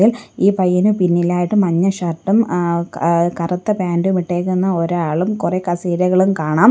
ഈ പയ്യന് പിന്നിലായിട്ട് മഞ്ഞ ഷർട്ടും ആഹ് ആഹ് കറുത്ത പാന്റും ഇട്ടേക്കുന്ന ഒരാളും കൊറെ കസേരകളും കാണാം.